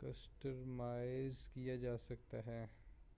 customise کیا جا سکتا ہے